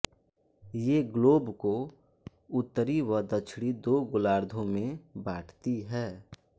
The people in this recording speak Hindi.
ये ग्लोब को उत्तरी व दक्षिणी दो गोलार्धों में बांटती है